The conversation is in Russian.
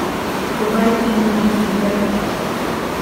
врубай фильм беги без оглядки